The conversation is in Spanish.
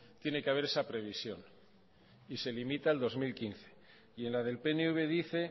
tiene que haber esa previsión y se limita al dos mil quince y en la del pnv dice